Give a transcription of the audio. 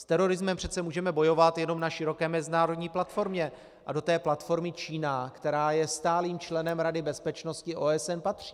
S terorismem přece můžeme bojovat jenom na široké mezinárodní platformě a do té platformy Čína, která je stálým členem Rady bezpečnosti OSN, patří.